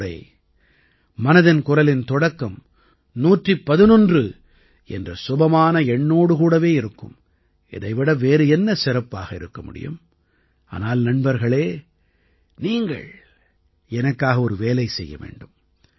அடுத்த முறை மனதின் குரலின் தொடக்கம் 111 என்ற சுபமான எண்ணோடு கூடவே இருக்கும் இதை விட வேறு என்ன சிறப்பாக இருக்க முடியும் ஆனால் நண்பர்களே நீங்கள் எனக்காக ஒரு வேலை செய்ய வேண்டும்